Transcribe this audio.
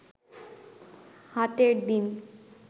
হাটের দিন